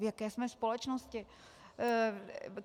V jaké jsme společnosti?